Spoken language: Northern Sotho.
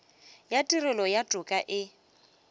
ya tirelo ya toka e